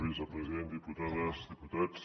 vicepresident diputades diputats